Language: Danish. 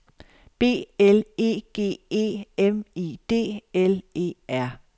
B L E G E M I D L E R